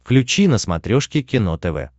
включи на смотрешке кино тв